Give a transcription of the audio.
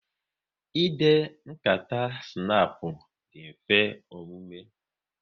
Ịde nkata snapu dị mfe omume